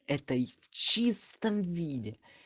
этой в чистом виде